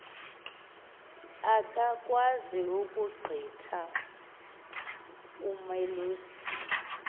akakwazi ukugqitha umalusi